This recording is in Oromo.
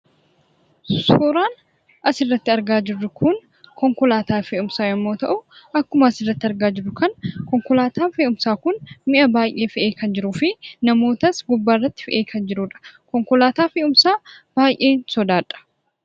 Suuraan asirratti argaa jirru Kun, konkolaataa fe'umsaa yemmuu ta'u, akkuma asirratti argaa jirru Kana konkolaataan fe'umsaa Kun mi'a baayyee fe'ee kan jiruu fi namootas gubbaa irratti fe'ee kan jirudha. Konkolaataa fe'umsaa baayyeen sodaadha.